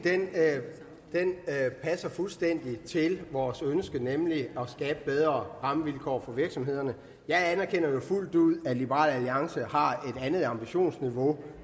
passer fuldstændig til vores ønske nemlig at skabe bedre rammevilkår for virksomhederne jeg anerkender jo fuldt ud at liberal alliance har et andet ambitionsniveau